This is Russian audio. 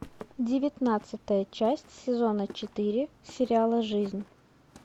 девятнадцатая часть сезона четыре сериала жизнь